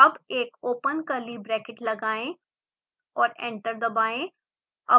अब एक open curly bracket लगाएं और एंटर दबाएं